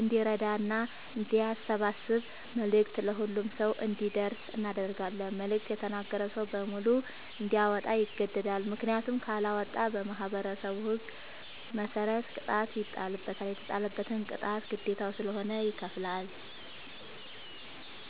እንዲራዳና አንዲያሰባስብ መልዕክቱ ለሁሉም ሰው አንዲደርሰው እናደርጋለን። መልዕክቱ የተነገረዉ ሰዉ በሙሉ እንዲያወጣ ይገደዳል። ምክንያቱም ካለወጣ በማህበረሠቡ ህግ መሰረት ቅጣት ይጣልበታል። የተጣለበትን ቅጣት ግዴታዉ ስለሆነ ይከፍላል።